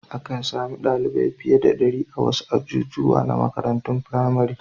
Akan sami ɗalibai fiye da ɗari a wasu ajujuwa na makarantun firamare.